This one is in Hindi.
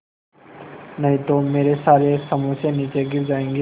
नहीं तो मेरे सारे समोसे नीचे गिर जायेंगे